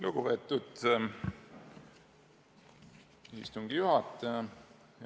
Lugupeetud istungi juhataja!